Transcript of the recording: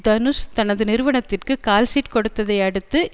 தனுஷ் தனது நிறுவனத்திற்கு கால்ஷீட் கொடுத்ததை அடுத்து